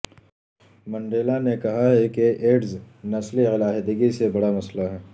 Mandela نے کہا ہے کہ ایڈز نسلی علیحدگی سے بڑا مسئلہ ہے